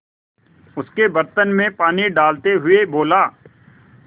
उसके बर्तन में पानी डालते हुए बोला